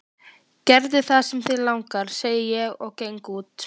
Gerðu það sem þig langar, segi ég og geng út.